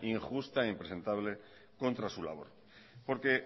injusta e impresentable contra su labor porque